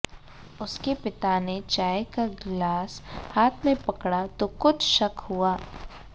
उसके पिता ने चाय का गिलास हाथ में पकड़ा तो कुछ शक हुआ